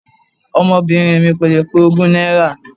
Ọmọbìnrin mi kò lè pé ogún náírà.